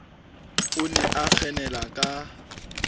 o ne a kgenela ka